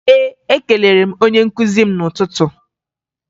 Ee, ekelere m onye nkụzi m n'ụtụtụ